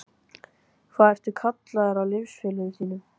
Hvað ertu kallaður af liðsfélögum þínum?